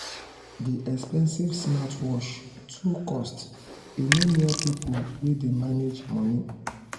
the expensive smartwatch too cost e no near people wey dey manage money.